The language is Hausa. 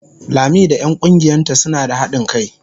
Lami da 'yan kungiyarta suna da hadin kai.